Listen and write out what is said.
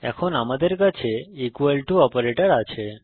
এখন আমাদের কাছে ইকুয়াল টু অপারেটর আছে